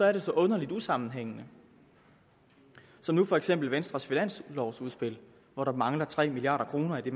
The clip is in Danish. er det så underligt usammenhængende som nu for eksempel venstres finanslovudspil hvor der mangler tre milliard kroner i